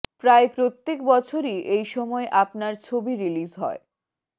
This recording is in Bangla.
প্রায় প্রত্যেক বছরই এই সময় আপনার ছবি রিলিজ হয়